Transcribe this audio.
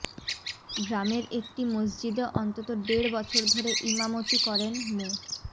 গ্রামের একটি মসজিদে অন্তত দেড় বছর ধরে ইমামতি করেন মো